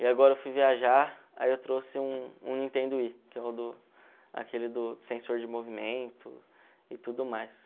E agora eu fui viajar, aí eu trouxe um um Nintendo Wii, que aquele do sensor de movimento e tudo mais.